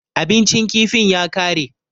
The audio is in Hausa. Abincin kifin ya ƙare.